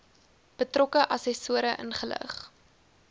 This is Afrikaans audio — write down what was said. betrokke assessore ingelig